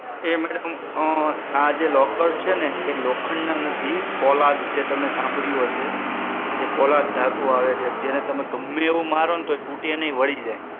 એ madam આ જે locker છે ને એ લોખંડ ના નથી પોલાદ, જે તમે સાંભળ્યું હશે પોલાદ ધાતુ આવે છે એમાં ગમે એવું મારો ને એ તૂટે નહિ વળી જાય